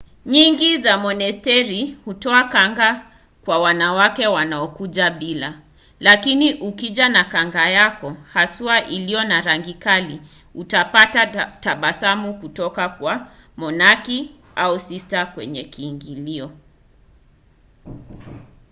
nyingi za monasteri hutoa kanga kwa wanawake wanaokuja bila lakini ukija na kanga yako haswa iliyo na rangi kali utapata tabasamu kutoka kwa monaki au sista kwenye kiingilio